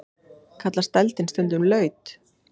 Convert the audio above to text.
Kallast dældin stundum laut.